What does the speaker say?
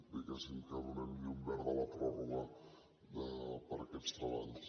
diguéssim que donem llum verda a la pròrroga per a aquests treballs